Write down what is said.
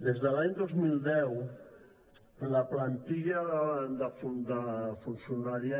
des de l’any dos mil deu la plantilla de funcionaris